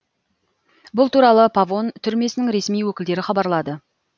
бұл туралы павон түрмесінің ресми өкілдері хабарлады